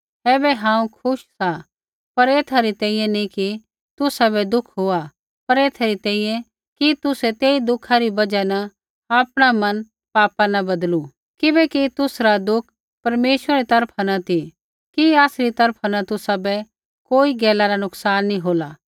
ऐबै हांऊँ खुश सा पर ऐथा री तैंईंयैं नी कि तुसाबै दुःख हुआ पर ऐथा री तैंईंयैं कि तुसै तेई दुःखा री बजहा न आपणा मन पापा न बदलू किबैकि तुसरा दुःख परमेश्वरै री तरफा न ती कि आसरी तरफा न तुसाबै कोई गैला रा नुकसान नी होला